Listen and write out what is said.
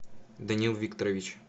даниил викторович